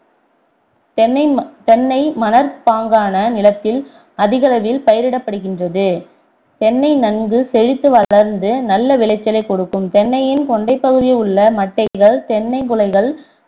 தென்னை தென்னை தென்னை மணற்பாங்கான நிலத்தில் அதிகளலில் பயிரிடப்படுகின்றது தென்னை நன்கு செழித்து வளர்ந்து நல்ல விளைச்சலைக் கொடுக்கவும் தென்னையின் கொண்டைப் பகுதியில் உள்ள மட்டைகள் தென்ங் குலைகள்